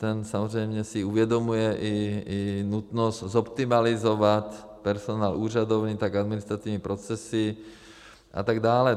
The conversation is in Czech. Ten samozřejmě si uvědomuje i nutnost zoptimalizovat personál úřadovny, tak administrativní procesy a tak dále.